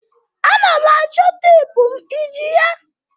Ana m achọ teepu m. Iji ya?